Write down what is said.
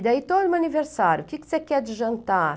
E daí todo aniversário, o que você quer de jantar?